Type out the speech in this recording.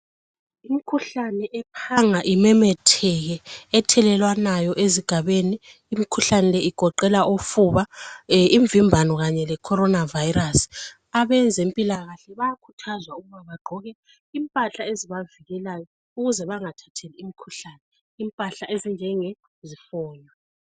Imkhuhlane ephanga ememetheke Ethelelwanayo ezigabeni imikhuhlane le igoqela ufuba, imvimbano kanye le khorona vayirasi abezempilakahle bayakhuthazwa ukuthi bagqoke impahla ezibavikelayo ukuze bangathathi imikhuhlane impahla ezinje ziho